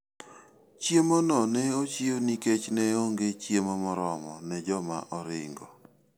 Chiemono ne ochiw nikech ne onge chiemo moromo ne joma oringo.